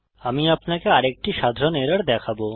আমি আপনাকে আরেকটি সাধারণ এরর দেখাবো